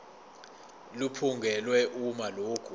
liphungulwe uma lokhu